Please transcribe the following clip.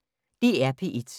DR P1